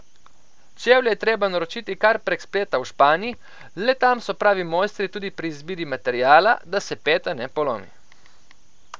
Čevlje je treba naročiti kar prek spleta v Španiji, le tam so pravi mojstri tudi pri izbiri materiala, da se peta ne polomi.